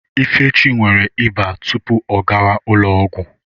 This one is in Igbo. Ifechi nwere ịba tupu ọ gawa ụlọ ọgwụ.